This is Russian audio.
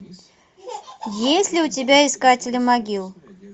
есть ли у тебя искатели могил